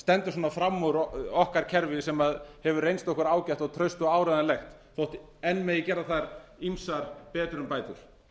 stendur svona fram úr okkar kerfi sem hefur reynst okkur ágætt traust og áreiðanlegt þó enn megi gera þar ýmsar betrumbætur